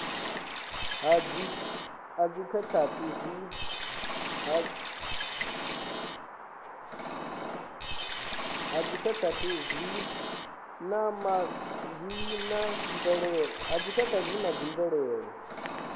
ha dzikhakhathi zwi na mvelelo